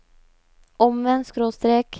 omvendt skråstrek